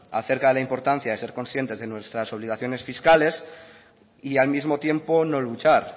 acerca de la importancia de ser consciente de nuestras obligaciones fiscales y al mismo tiempo no luchar